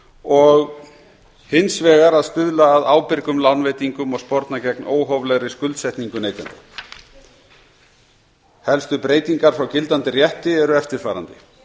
og hins vegar að stuðla að ábyrgum lánveitingum og sporna gegn óhóflegri skuldsetningu neytenda helstu breytingar frá gildandi rétti eru eftirfarandi